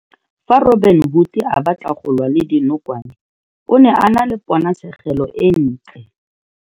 Fa Robin-Hood a batla go lwa le dinokwane, o ne a na le ponatshegelo e ntle.